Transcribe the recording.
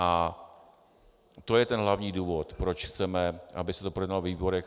A to je ten hlavní důvod, proč chceme, aby se to projednalo ve výborech.